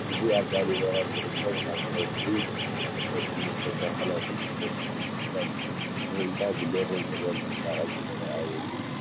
እዚ ኣብ ላሊበላ ዝርከብ ካብ ከውሒ ተፈልፊሉ ዝተሰርሐ ናይ ቅዱስ ጊዮርጊስ ቤተ ክርስቲያን እዩ፡፡ እዚ ህንፃ ዝገርም ጥበብን ፅባቐን ዝተረአየሉ እዩ፡፡